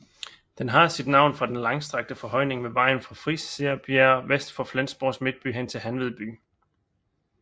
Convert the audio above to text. Den har sit navn fra den langstrakte forhøjning ved vejen fra Friserbjerg vest for Flensborgs midtby hen til Hanved by